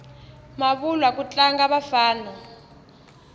mavulwa ku tlanga vafana